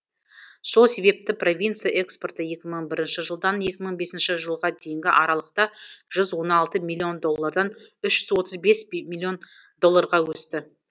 сол себепті провинция экспорты екі мың бір жылдан екі мың бес жылға дейінгі аралықта жүз он алты миллион доллардан үш жүз отыз бес миллион долларға өсті